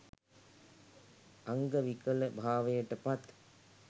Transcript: අංග විකලභාවයට පත්